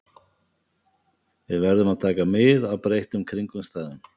Við verðum að taka mið af breyttum kringumstæðum.